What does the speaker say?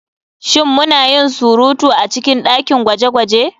Shin muna yin surutu a cikin dakin gwaje-gwaje?